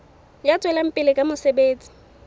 ya tswelang pele ka mosebetsi